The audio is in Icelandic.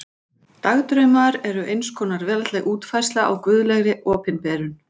Dagdraumar eru eins konar veraldleg útfærsla á guðlegri opinberun.